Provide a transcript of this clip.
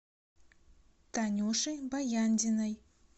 танюши баяндиной